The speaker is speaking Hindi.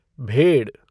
भेड़